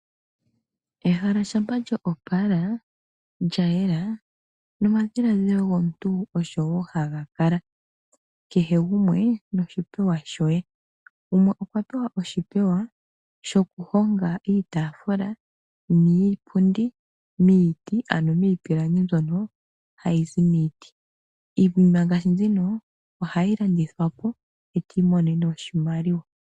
Ehala shampa lyoopala, lyayela, nomadhiladhilo gomuntu osho woo hagakala. Kehe gumwe noshipewa shoye. Gumwe okwa pewa oshipewa sho ku honga iitaafula niipundi miiti, ano miipilangi mbyoka ha yi zi miiti. Iinima ngaashi mbino oha yi landithwa po, e ti imonene mo oshimaliwa.